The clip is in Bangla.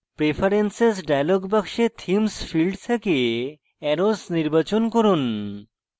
preferences dialog box themes field থেকে arrows নির্বাচন করুন